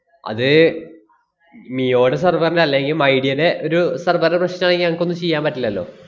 അത് മിയോടെ server ന്‍റെ അല്ലെങ്കി മൈഡിയേലെ ഒരു server ടെ പ്രശ്‌നം ആണെങ്കി ഞങ്ങക്കൊന്നും ചെയ്യാൻ പറ്റില്ലല്ലോ.